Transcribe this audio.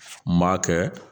N m'a kɛ